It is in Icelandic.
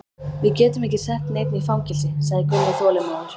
Við getum ekki sett neinn í fangelsi, sagði Gunni þolinmóður.